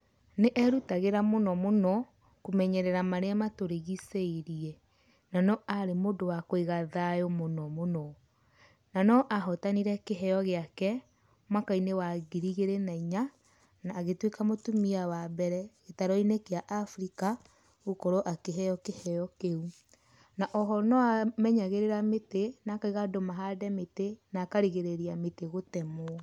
Nĩ erutagĩra mũno mũno kũmenyerera marĩa maturĩgĩciĩrie na no arĩ mũndũ wa kũiga thayũ mũno mũno. Na no ahotanire kĩheo gĩake mwaka-inĩ wa ngiri igĩrĩ na inya na agĩtuĩka mũtumia wa mbere gĩtaru-inĩ kĩa Afrika gũkorwo akĩheo kiheo kĩũ. Na oho no amenyagĩrĩra mĩtĩ na akaũga andũ mahande mĩtĩ na akarigĩrĩria mĩtĩ gũtemwo.